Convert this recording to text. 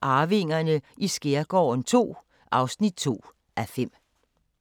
Arvingerne i skærgården II (2:5)*